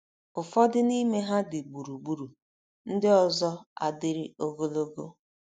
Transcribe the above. Ụfọdụ n’ime ha dị gburugburu, ndị ọzọ adịrị ogologo.